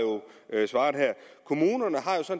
at kommunerne